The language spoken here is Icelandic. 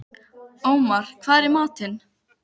Ómar, hvað er í matinn?